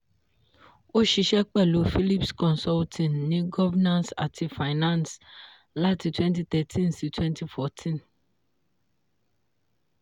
ó ṣiṣẹ́ pẹ̀lú phillips consulting ní governance àti finance láti twenty thirteen sí twenty fourteen